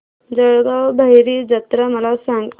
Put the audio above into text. जळगाव भैरी जत्रा मला सांग